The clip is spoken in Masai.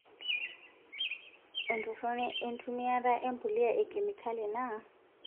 Entoroni enkitumiyata empuliya ekemikali naa;